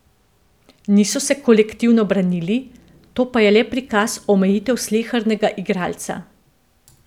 Niso se kolektivno branili, to pa je le prikaz omejitev slehernega igralca.